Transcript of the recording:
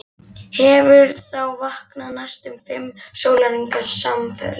Hefur þá vakað næstum fimm sólarhringa samfleytt.